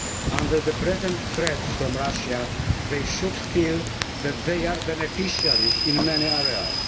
Under the present threats from Russia, they should feel that they are beneficiaries in many areas.